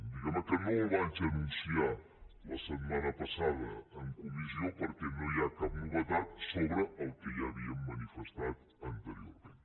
diguem ne que no el vaig anunciar la setmana passada en comissió perquè no hi ha cap novetat sobre el que ja havíem manifestat anteriorment